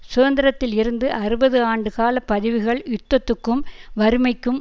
சுதந்திரத்தில் இருந்து அறுபது ஆண்டுகால பதிவுகள் யுத்தத்துக்கும் வறுமைக்கும்